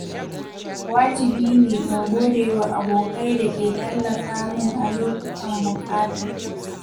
wajibine in godewa abokai da ke tallafa min a lokutan buƙata.